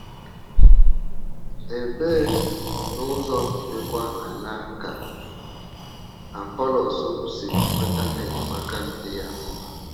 Ebee, n’ụzọ dịkwa àńà ka Apọlọs si nweta enyemaka dị ya mkpa?